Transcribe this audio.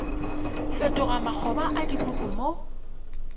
fetoga makgoba a dipuku mo